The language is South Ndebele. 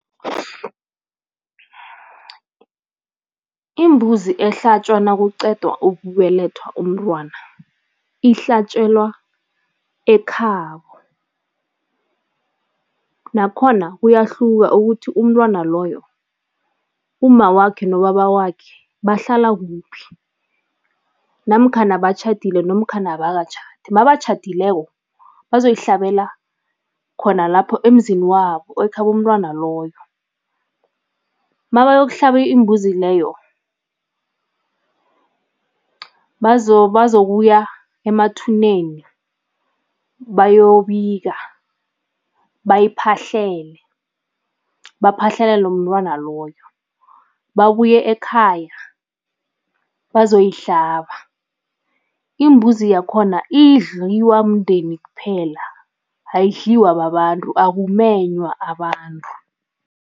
Imbuzi ehlatjwa nakuqedwa ukubelethwa umntwana, ihlatjelwa ekhabo, nakhona kuyahluka ukuthi umntwana loyo umma wakhe nobaba wakhe bahlala kuphi namkhana batjhadile nomkhana abakatjhadi, mabatjhadileko bazoyihlabela khona lapho emzini wabo, ekhabo mntwana loyo. Mabayokuhlaba imbuzi leyo, bazokuya emathuneni bayobika, bayiphahlele, baphahlelele umntwana loyo, babuye ekhaya bazoyihlaba. Imbuzi yakhona idliwa mndeni kuphela, ayidliwa babantu, akumenywa abantu.